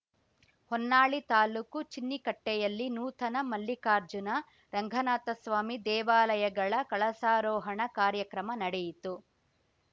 ಹೊನ್ನಾಳಿ ತಾಲೂಕು ಚಿನ್ನಿಕಟ್ಟೆಯಲ್ಲಿ ನೂತನ ಮಲ್ಲಿಕಾರ್ಜುನ ರಂಗನಾಥಸ್ವಾಮಿ ದೇವಾಲಯಗಳ ಕಳಸಾರೋಹಣ ಕಾರ್ಯಕ್ರಮ ನಡೆಯಿತು